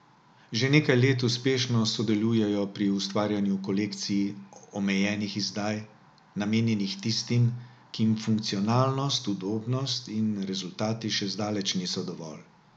Že nekaj let uspešno sodelujejo pri ustvarjanju kolekcij omejenih izdaj, namenjenih tistim, ki jim funkcionalnost, udobnost in rezultati še zdaleč niso dovolj.